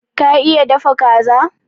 Ka iya dafa Kaza?